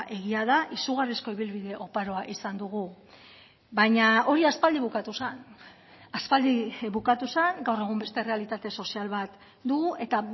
egia da izugarrizko ibilbide oparoa izan dugu baina hori aspaldi bukatu zen aspaldi bukatu zen gaur egun beste errealitate sozial bat dugu eta